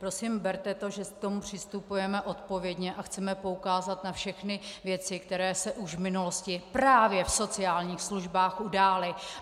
Prosím berte to, že k tomu přistupujeme odpovědně a chceme poukázat na všechny věci, které se už v minulosti právě v sociálních službách udály.